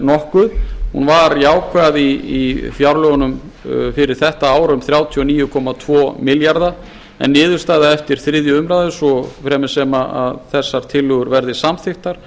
nokkuð hún var jákvæð í fjárlögunum fyrir þetta ár um þrjátíu og níu komma tvo milljarða en verði þetta það er niðurstaðan eftir þriðju umræðu svo fremi sem þessar tillögur verða samþykktar